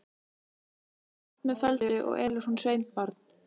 Fer það allt með felldu, og elur hún sveinbarn.